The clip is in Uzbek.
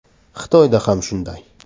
Xitoyda ham shunday.